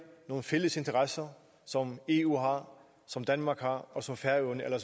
nogle fælles interesser som eu har som danmark har og som færøerne eller